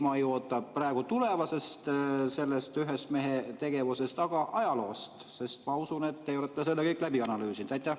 Ma ei oota praegu selle ühe mehe tegevusest, vaid ajaloost, sest ma usun, et te olete selle kõik läbi analüüsinud.